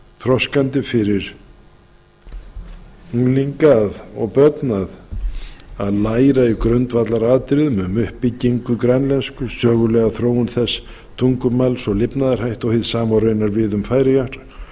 þroskandi fyrir unglinga og börn að læra í grundvallaratriðum um uppbyggingu grænlensku sögulega þróun þess tungumáls og lifnaðarhætti og hið sama á raunar við um færeyjar en